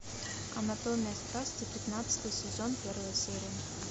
анатомия страсти пятнадцатый сезон первая серия